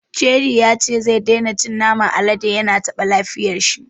Cidi ya ce zai daina cin naman alade, ya na taɓa lafiyar shi.